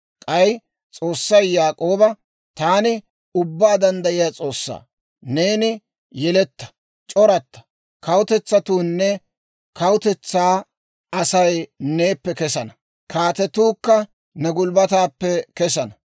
K'ay S'oossay Yaak'ooba, «Taani Ubbaa Danddayiyaa S'oossaa; neeni yeletta; c'oratta; kawutetsatuunne kawutetsaa Asay neeppe kessana; kaatetuukka ne gulbbataappe kessana.